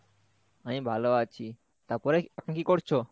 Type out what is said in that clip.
আমি ভালো আছি, তারপরে তুমি কি করছো?